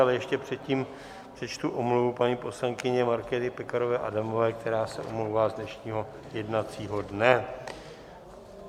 Ale ještě předtím přečtu omluvu paní poslankyně Markéty Pekarové Adamové, která se omlouvá z dnešního jednacího dne.